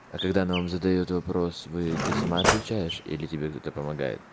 а когда она вам задаёт вопрос вы ты сама отвечаешь или тебе кто-то помогает